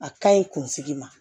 A ka ɲi kunsigi ma